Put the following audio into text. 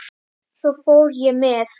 Svo fór ég með